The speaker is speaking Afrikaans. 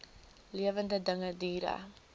lewende dinge diere